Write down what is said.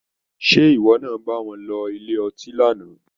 Sé ìwọ náà bá wọn lọ ilé ọtí lánàá?